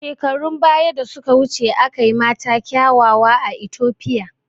Shekarun baya da suka wuce akwai mata kiawawa a Itopia